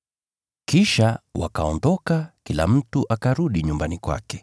Kisha wakaondoka, kila mtu akarudi nyumbani kwake.